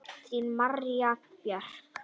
Þín María Björk.